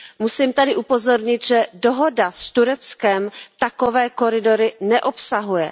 Musím tady upozornit, že dohoda s Tureckem takové koridory neobsahuje.